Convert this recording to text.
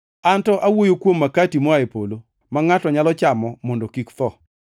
An to awuoyo kuom makati moa e polo, ma ngʼato nyalo chamo mondo kik otho.